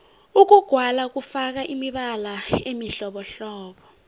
ukugwala kufaka imibala emihlobohlobo